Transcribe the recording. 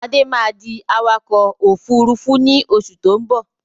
Adé máa di awakọ̀ Òfurufú ni oṣù tó ń bọ̀